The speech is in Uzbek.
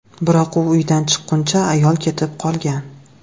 Biroq u uyidan chiqquncha, ayol ketib qolgan.